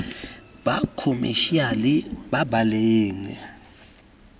ba khomešiale ba ba leng